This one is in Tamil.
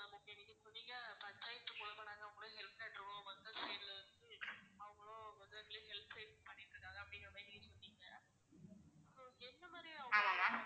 ஆமா ma'am